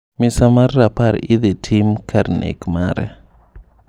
Misa mar rapar idhii tim kar nek mare.